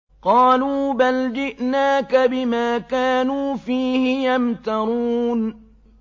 قَالُوا بَلْ جِئْنَاكَ بِمَا كَانُوا فِيهِ يَمْتَرُونَ